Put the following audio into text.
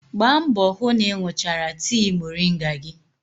Gbaa mbọ hụ na ị ṅụchara tii moringa gị.